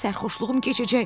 sərxoşluğum keçəcək.